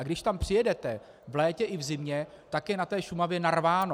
A když tam přijedete v létě i v zimě, tak je na té Šumavě narváno.